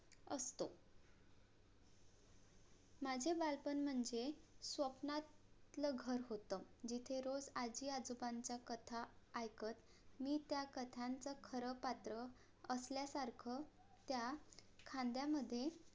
माझे बालपण म्हणजे स्वप्नातलं घर होत जिथे रोज आज्जी आजोबांचा कथा ऐकत मी त्या कथांचं खर पात्र असल्या सारखं त्या खांद्या मध्ये